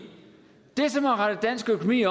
det som har rettet dansk økonomi